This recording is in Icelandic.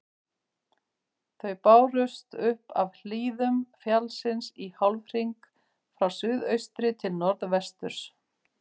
Þau bárust upp af hlíðum fjallsins í hálfhring frá suðaustri til norðvesturs.